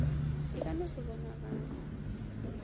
e ka no se bonagale